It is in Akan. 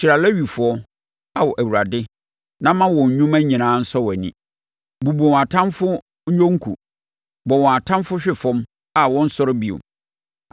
Hyira Lewifoɔ, Ao Awurade na ma wɔn nnwuma nyinaa nsɔ wʼani. Bubu wɔn atamfoɔ nnwonku; bɔ wɔn atamfoɔ hwe fam a wɔnsɔre bio.”